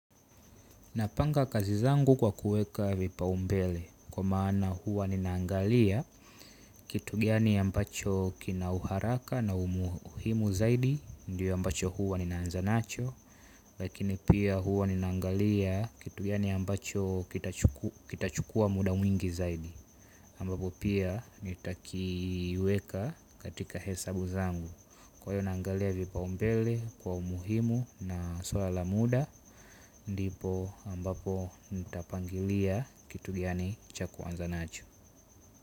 Napanga kazi zangu kwa kuweka vipaumbele kwa maana huwa ninaangalia kitu gani ambacho kina uharaka na umuhimu zaidi ndiyo ambacho huwa ninaanza nacho. Lakini pia huwa ninaangalia kitu gani ambacho kitachukua muda mwingi zaidi ambapo pia nitakiweka katika hesabu zangu. Kwa hiyo naangalia vipaumbele kwa umuhimu na suala la muda. Ndipo ambapo nitapangilia kitu gani cha kuanza nacho.